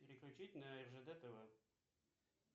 переключить на ржд тв